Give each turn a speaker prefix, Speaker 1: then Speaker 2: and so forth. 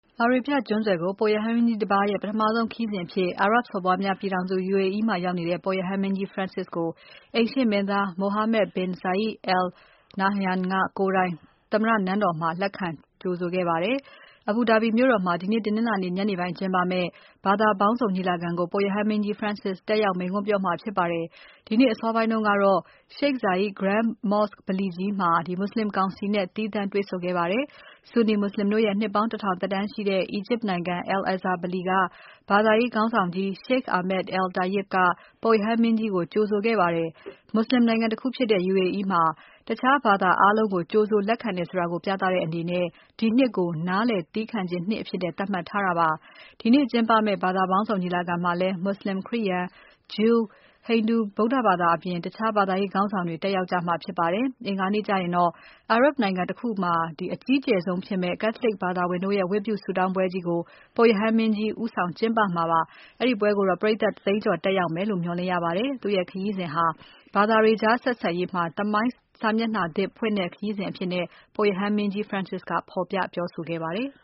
Speaker 1: အာရေဗျ ကျွန်းဆွယ်ကို ပုပ်ရဟန်းမင်းကြီးတပါးရဲ့ ပထမဆုံးခရီးစဉ်အဖြစ် အာရပ်စော်ဘွားများ ပြည်ထောင်စု UAE မှာ ရောက်နေတဲ့ ပုပ်ရဟန်းမင်းကြီး Francis ကိုအိမ်ရှေ့မင်းသား Mohammed bin Zayed Al Nahyan ကိုယ်တိုင် သမ္မတနန်းတော်မှာ လက်ခံကြိုဆိုခဲ့ပါတယ်။ Abu Dhabi မြို့တော်မှာ ဒီနေ့ တနင်္လာနေ့ ညနေပိုင်းကျင်းပမယ့် ဘာသာပေါင်းစုံညီလာခံကို ပုပ်ရဟန်းမင်းကြီး Francis တက်ရောက် မိန့်ခွန်းပြောမှာဖြစ်ပါတယ်။ ဒီနေ့ အစောပိုင်းကတော့ Sheikh Zayed Grand Mosque ဗလီကြီးမှာ မွတ်ဆလင်ကောင်စီနဲ့ သီးသန့်တွေ့ဆုံခဲ့ပါတယ်။ အီဂျစ်နိုင်ငံ Al-Azhar ဗလီက ဘာသာရေးခေါင်းဆောင်ကြီး Sheikh Ahmed al-Tayeb ကပုပ်ရဟန်းမင်းကြီးကို ကြိုဆိုခဲ့ပါတယ်။ မွတ်ဆလင်နိုင်ငံတခုဖြစ်တဲ့ UAE မှာ တခြားဘာသာ အားလုံးကို ကြိုဆိုလက်ခံတယ်ဆိုတာ ပြသတဲ့အနေနဲ့ ဒီနှစ်ကို နားလည်သည်းခံခြင်းနှစ်အဖြစ်သတ်မှတ်ထားတာဖြစ်ပါတယ်။ ဒီနေ့ကျင်းပမယ့် ဘာသာပေါင်းစုံညီလာခံမှာလည်း မူဆလင်၊ ခရိယာန်၊ ဂျူး၊ ဟိန္ဒူ၊ ဗုဒ္ဓဘာသာနဲ့ တခြားဘာသာရေးခေါင်းဆောင်တွေ တက်ရောက်ကြမှာဖြစ်ပါတယ်။ အင်္ဂါနေ့ကျရင်တော့ အာရပ်နိုင်ငံတခုမှာ အကြီးကျယ်ဆုံးဖြစ်မယ့် Catholic ဘာသာဝင်တို့ရဲ့ ဝတ်ပြုဆုတောင်းပွဲကြီးကို ပုပ်ရဟန်းမင်းကြီး ဦးဆောင်ကျင်းပမှာဖြစ်ပါတယ်။ အဲဒီပွဲကို ပရိတ်သတ် ၁ သိန်းကျော် တက်ရောက်မယ်လို့ မျှော်လင့်ရပါတယ်။ သူ့ရဲ့ခရီးစဉ်ဟာ ဘာသာတွေကြားဆက်ဆံရေးမှာ သမိုင်းစာမျက်နှာသစ်ဖွင့်တဲ့ခရီးစဉ်အဖြစ် ပုပ်ရဟန်းမင်းကြီး Francis ကဖော်ပြပြောဆိုခဲ့ပါတယ်။